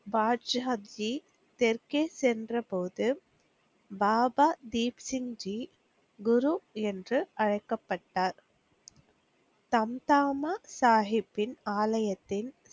பாட்ஷாஜி தெற்கே சென்ற போது பாபா தீப்சிங்ஜி குரு என்று அழைக்கப்பட்டார். தம்தாமா சாகிப்பின் ஆலயத்தின்